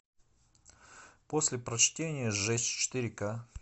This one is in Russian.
после прочтения сжечь четыре ка